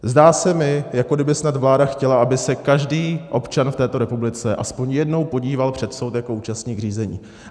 Zdá se mi, jako kdyby snad vláda chtěla, aby se každý občan v této republice aspoň jednou podíval před soud jako účastník řízení.